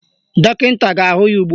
Dọkịta ga-ahụ ya ugbua